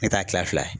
Ne t'a kila fila ye